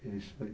É isso aí.